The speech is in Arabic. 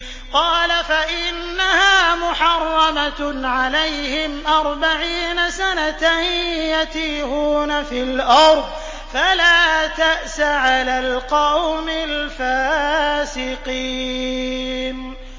قَالَ فَإِنَّهَا مُحَرَّمَةٌ عَلَيْهِمْ ۛ أَرْبَعِينَ سَنَةً ۛ يَتِيهُونَ فِي الْأَرْضِ ۚ فَلَا تَأْسَ عَلَى الْقَوْمِ الْفَاسِقِينَ